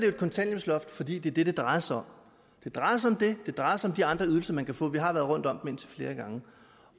et kontanthjælpsloft fordi det er det det drejer sig om det drejer sig om det det drejer sig de andre ydelser man kan få vi har været rundt om dem indtil flere gange